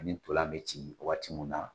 Ani ntolan bɛ ci waati mun na